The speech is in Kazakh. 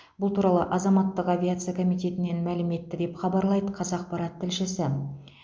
бұл туралы азаматтық авиация комитетінен мәлім етті деп хабарлайды қазақпарат тілшісі